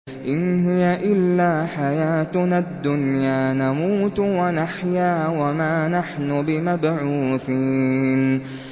إِنْ هِيَ إِلَّا حَيَاتُنَا الدُّنْيَا نَمُوتُ وَنَحْيَا وَمَا نَحْنُ بِمَبْعُوثِينَ